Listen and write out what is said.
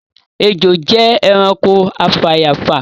Ejò jẹ ẹranko afàyàfà